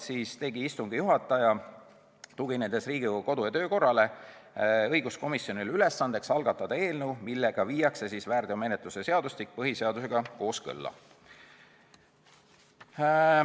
Siis tegi istungi juhataja, tuginedes Riigikogu kodu- ja töökorra seadusele, õiguskomisjonile ülesandeks algatada eelnõu, millega viiakse väärteomenetluse seadustik põhiseadusega kooskõlla.